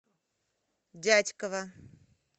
дятьково